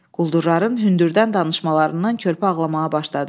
Quldurların hündürdən danışmalarından körpə ağlamağa başladı.